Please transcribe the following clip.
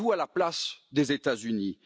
Mettez vous à la place des États Unis.